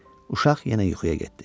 Uşaq yenə yuxuya getdi.